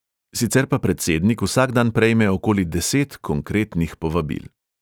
Sicer pa predsednik vsak dan prejme okoli deset konkretnih povabil.